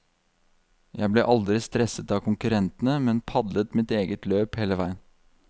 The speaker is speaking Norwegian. Jeg ble aldri stresset av konkurrentene, men padlet mitt eget løp hele veien.